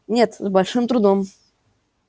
нет с большим трудом